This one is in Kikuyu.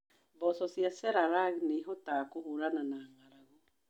Mboco cia Chelalang nĩ ihotaga kũhũrana na ng’aragu.